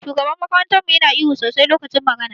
Shugaban makarantar mu Yana ihu sosai lokacin magana.